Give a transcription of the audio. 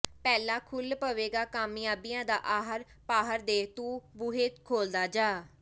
ਮਹਿਲ ਖੁੱਲ੍ਹ ਪਵੇਗਾ ਕਾਮਿਆਬੀਆਂ ਦਾ ਆਹਰ ਪਾਹਰ ਦੇ ਤੂੰ ਬੂਹੇ ਖੋਲ੍ਹਦਾ ਜਾਹ